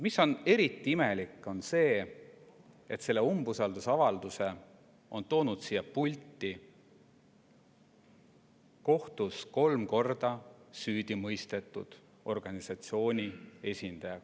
Aga eriti imelik on see, et selle umbusaldusavalduse on toonud siia kohtus kolm korda süüdi mõistetud organisatsiooni esindaja.